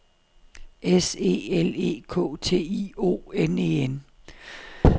S E L E K T I O N E N